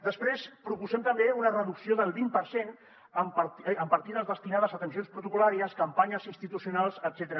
després proposem també una reducció del vint per cent en partides destinades a atencions protocol·làries campanyes institucionals etcètera